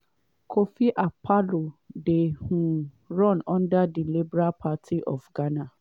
kofi akpaloo dey um run under di liberal party of ghana.